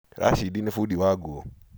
Rashid nĩ fundi wa radio.